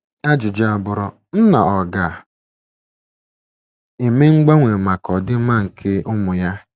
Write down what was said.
Ajụjụ abụrụ, Nna ọ̀ ga - eme mgbanwe maka ọdịmma nke ụmụ ya?